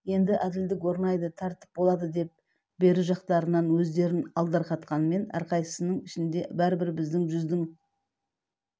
енді әділдік орнайды тәртіп болады деп бері жақтарынан өздерін алдарқатқанмен әрқайсысының ішінде бәрібір біздің жүздің